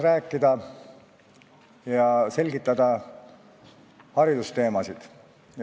Täna tahan teile selgitada haridusteemasid.